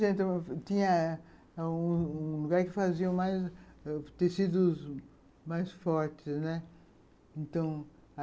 Tinha um um lugar que faziam tecidos mais fortes, né, então